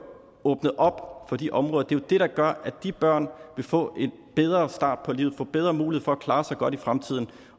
åbnet op for de områder det er det der gør at de børn vil få en bedre start på livet vil få bedre mulighed for at klare sig godt i fremtiden